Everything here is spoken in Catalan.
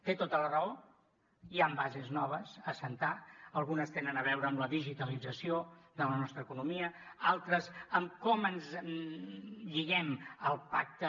té tota la raó hi han bases noves a assentar algunes tenen a veure amb la digitalització de la nostra economia altres amb com ens lliguen al pacte